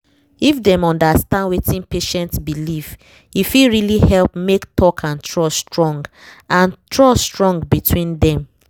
if dem understand wetin patient believe e fit really help make talk and trust strong and trust strong between dem